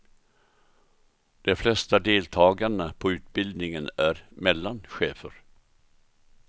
De flesta deltagarna på utbildningen är mellanchefer.